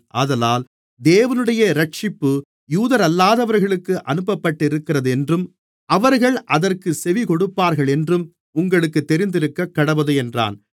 ஆதலால் தேவனுடைய இரட்சிப்பு யூதரல்லாதவர்களுக்கு அனுப்பப்பட்டிருக்கிறதென்றும் அவர்கள் அதற்குச் செவிகொடுப்பார்களென்றும் உங்களுக்குத் தெரிந்திருக்கக்கடவது என்றான்